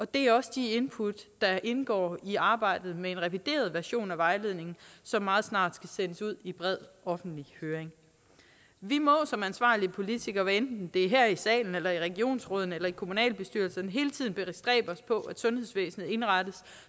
det er også de input der indgår i arbejdet med en revideret version af vejledningen som meget snart skal sendes ud i bred offentlig høring vi må som ansvarlige politikere hvad enten det er her i salen eller i regionsrådene eller kommunalbestyrelserne hele tiden bestræbe os på at sundhedsvæsenet indrettes